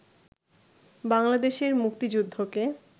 বাংলাদেশের মুক্তিযুদ্ধকে